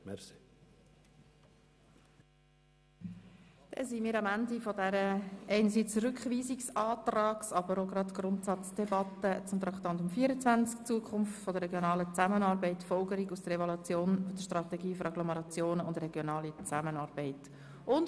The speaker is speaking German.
Somit sind wir am Ende einerseits der Rückweisungsantrags-, anderseits aber auch der Grundsatzdebatte des Traktandums 24, «Zukunft der regionalen Zusammenarbeit, Folgerungen aus der Evaluation der Strategie für Agglomerationen und Regionale Zusammenarbeit (SARZ)», angelangt.